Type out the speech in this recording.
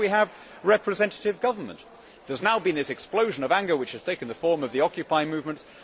that is why we have representative government. There has now been this explosion of anger, which has taken the form of the occupying movements.